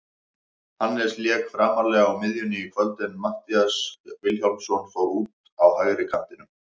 Hannes lék framarlega á miðjunni í kvöld en Matthías Vilhjálmsson fór út á hægri kantinn.